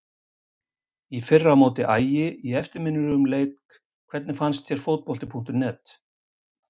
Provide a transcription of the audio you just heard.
Í fyrra á móti Ægi í eftirminnilegum leik Hvernig finnst þér Fótbolti.net?